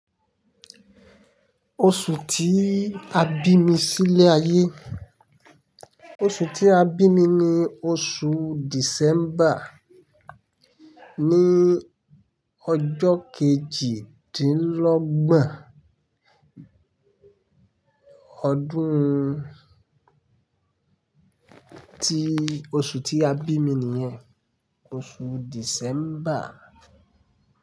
Oṣù tí a bí mi sílé ayé, oṣù tí a bí mi ni oṣù December, ní ọjọ kejìdínlọ́gbọ̀n Ọdún. Ti oṣù tí a bí mi nìyẹn, oṣù December.